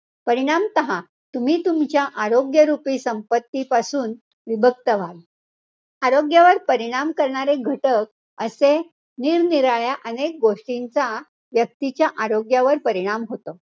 परिणामतः तुम्ही तुमच्या आरोग्यरूपी संपत्ती पासून विभक्त व्हाल. आरोग्यावर परिणाम करणारे घटक, असे निरनिराळ्या अनेक गोष्टींचा, व्यक्तीच्या आरोग्यावर परिणाम होतो.